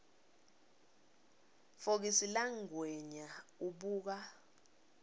fokisi langwenya ubuka